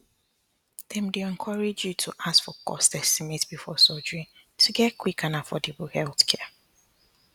dem dey encourage you to ask for cost estimate before surgery to get quick and affordable healthcare